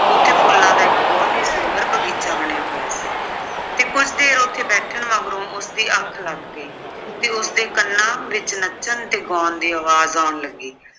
ਉੱਥੇ ਫੁੱਲਾਂ ਦਾ ਇੱਕ ਬਹੁਤ ਹੀ ਸੁੰਦਰ ਬਗੀਚਾ ਬਣਿਆ ਹੋਇਆ ਸੀ ਤੇ ਕੁੱਝ ਦੇਰ ਉੱਥੇ ਬੈਠਣ ਮਗਰੋਂ ਉਸਦੀ ਅੱਖ ਲੱਗ ਗਈ ਤੇ ਉਸਦੇ ਕੰਨਾਂ ਵਿੱਚ ਨੱਚਣ ਤੇ ਗਾਉਣ ਦੀ ਆਵਾਜ਼ ਆਉਣ ਲੱਗੀ